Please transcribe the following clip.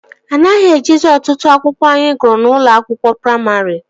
Anaghị ejizi otụtụ akwụkwọ anyị gụrụ n'ụlọ akwụkwọ praimarị